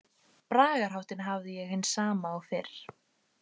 Bragarháttinn hafði ég hinn sama og fyrr.